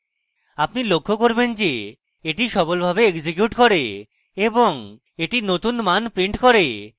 আপনি লক্ষ্য করবেন যে এটি সফলভাবে executes করে এবং এটি নতুন মান prints করে